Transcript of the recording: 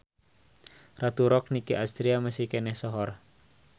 Ratu Rock Nicky Astria masih keneh sohor